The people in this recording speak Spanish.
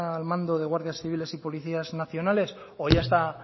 al mando de guardias civiles y policías nacionales o ya está